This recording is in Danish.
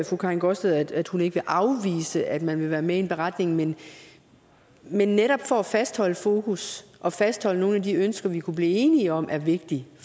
fru karin gaardsted at hun ikke vil afvise at man vil være med i en beretning men men netop for at fastholde fokus og fastholde nogle af de ønsker vi kunne blive enige om er vigtige i